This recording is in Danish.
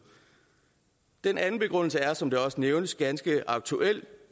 den anden begrundelse er som det også nævnes ganske aktuel